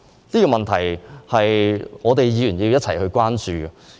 這個問題是需要議員一同關注的。